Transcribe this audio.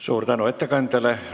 Suur tänu ettekandjale!